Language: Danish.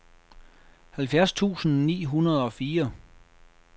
halvfjerds tusind ni hundrede og fire